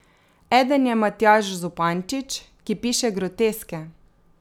Eden je Matjaž Zupančič, ki piše groteske.